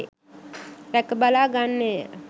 රැක බලා ගන්නේය.